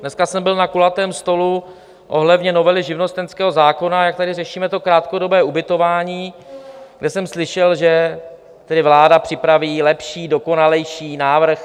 Dneska jsem byl na kulatém stolu ohledně novely živnostenského zákona, jak tady řešíme to krátkodobé ubytování, kde jsem slyšel, že tedy vláda připraví lepší, dokonalejší návrh.